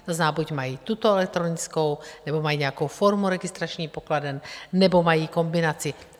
To znamená, buď mají tuto elektronickou, nebo mají nějakou formu registračních pokladen, nebo mají kombinaci.